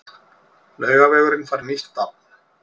Laugavegurinn fær nýtt nafn